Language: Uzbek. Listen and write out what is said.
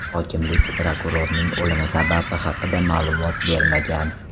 Hokimlik prokurorning o‘limi sababi haqida ma’lumot bermagan.